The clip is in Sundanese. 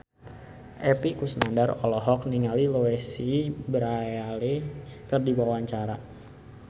Epy Kusnandar olohok ningali Louise Brealey keur diwawancara